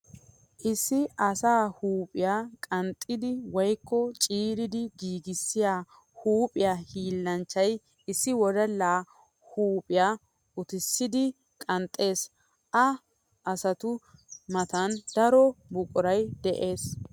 Issi asaa huuphphiya qanxxiddi woykko ciiriddi giiggissiya huuphiya hiillanchchay issi wodalla huuphiya uttissiddi qanxxes. Ha asattu matan daro buquray de'ees.